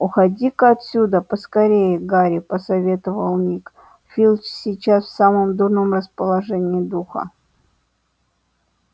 уходи-ка отсюда поскорее гарри посоветовал ник филч сейчас в самом дурном расположении духа